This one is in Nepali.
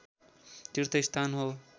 तीर्थ स्थान हो